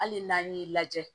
Hali n'an y'i lajɛ